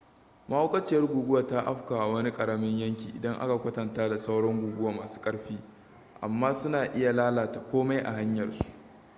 mahaukaciyar guguwa ta afkawa wani ƙaramin yanki idan aka kwatanta da sauran guguwa masu ƙarfi amma suna iya lalata komai a hanyar su